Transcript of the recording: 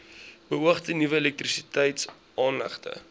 beoogde nuwe elektrisiteitsaanlegte